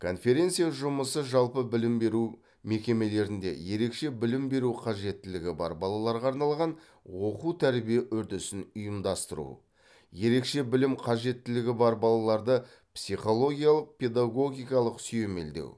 конференция жұмысы жалпы білім беру мекемелерінде ерекше білім беру қажеттілігі бар балаларға арналған оқу тәрбие үрдісін ұйымдастыру ерекше білім қажеттілігі бар балаларды психологиялық педагогикалық сүйемелдеу